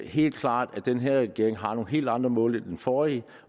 helt klart at den her regering har nogle helt andre mål end den forrige